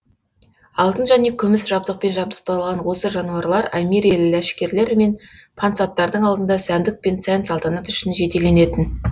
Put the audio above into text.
алтын және күміс жабдықпен жабдықталған осы жануарлар әмири ләшкерлер мен пансаттардың алдында сәндік пен сән салтанат үшін жетеленетін